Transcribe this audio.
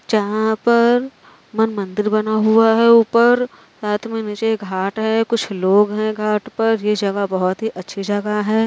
जहाँ पर मन मंदिर बना हुआ है ऊपर साथ में नीचे घाट है कुछ लोग हैं घाट पर ये जगह बहोत ही अच्छी जगह है।